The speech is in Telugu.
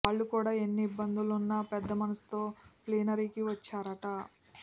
వాళ్ళు కూడా ఎన్ని ఇబ్బందులున్నా పెద్ద మనసుతో ప్లీనరీకి వచ్చారట